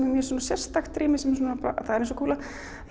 er mjög svona sérstakt rými það er eins og kúla